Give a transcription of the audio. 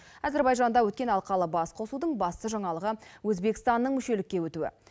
әзербайжанда өткен алқалы басқосудың басты жаңалығы өзбекстанның мүшелікке өтуі